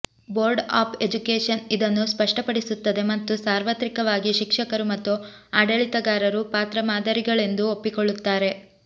board of education ಇದನ್ನು ಸ್ಪಷ್ಟಪಡಿಸುತ್ತದೆ ಮತ್ತು ಸಾರ್ವತ್ರಿಕವಾಗಿ ಶಿಕ್ಷಕರು ಮತ್ತು ಆಡಳಿತಗಾರರು ಪಾತ್ರ ಮಾದರಿಗಳೆಂದು ಒಪ್ಪಿಕೊಳ್ಳುತ್ತಾರೆ